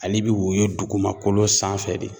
Ale bɛ woyo dugumakolo sanfɛ de